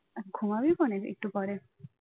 ঘুমাবি খনে একটু পরে